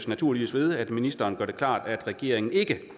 naturligvis ved at ministeren gør det klart at regeringen ikke